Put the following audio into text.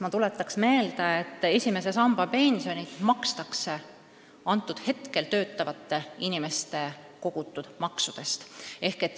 Ma tuletaksin meelde, et esimese samba pensioni makstakse praegu töötavate inimeste kogutud maksudest.